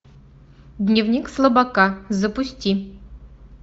дневник слабака запусти